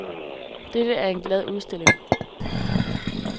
Dette er en glad udstilling.